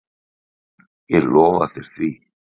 Ég lofa þér því.